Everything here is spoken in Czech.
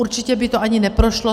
Určitě by to ani neprošlo.